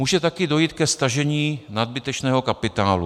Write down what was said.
Může také dojít ke stažení nadbytečného kapitálu.